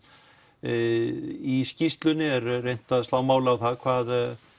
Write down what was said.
í skýrslunni er reynt að slá mál á það hvað